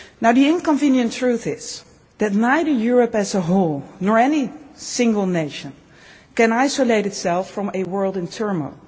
The inconvenient truth is that neither Europe as a whole, nor any single nation, can isolate itself from a world in turmoil.